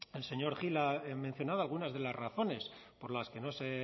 el señor gil ha mencionado algunas de las razones por las que no se